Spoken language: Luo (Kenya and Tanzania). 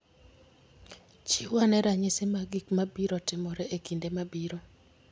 Chiw ane ranyisi mag gik mabiro timore e kinde mabiro